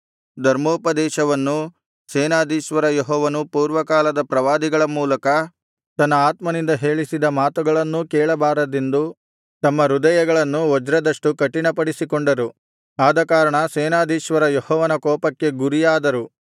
ಧರ್ಮೋಪದೇಶವನ್ನೂ ಸೇನಾಧೀಶ್ವರ ಯೆಹೋವನು ಪೂರ್ವಕಾಲದ ಪ್ರವಾದಿಗಳ ಮೂಲಕ ತನ್ನ ಆತ್ಮನಿಂದ ಹೇಳಿಸಿದ ಮಾತುಗಳನ್ನೂ ಕೇಳಬಾರದೆಂದು ತಮ್ಮ ಹೃದಯಗಳನ್ನು ವಜ್ರದಷ್ಟು ಕಠಿಣಪಡಿಸಿಕೊಂಡರು ಆದಕಾರಣ ಸೇನಾಧೀಶ್ವರ ಯೆಹೋವನ ಕೋಪಕ್ಕೆ ಗುರಿಯಾದರು